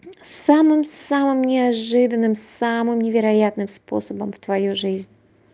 самым самым неожиданным самым невероятным способом в твою жизнь